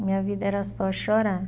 Minha vida era só chorar.